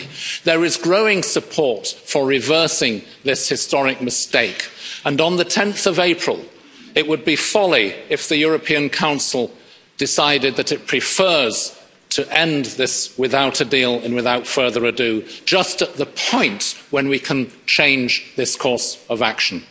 50. There is growing support for reversing this historic mistake, and on 10 April it would be folly if the European Council decided that it prefers to end this without a deal and without further ado, just at the point when we can change this course of action.